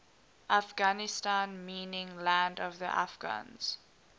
afghanistan meaning land of the afghans